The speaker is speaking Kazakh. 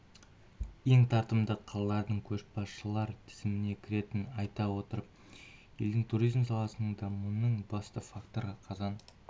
ең тартымды қалалардың көшбасшылар тізіміне кіретінін айта отырып елдің туризм саласының дамуының басты факторы қазан